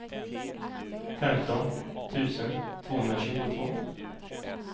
femton tusen tvåhundratjugotvå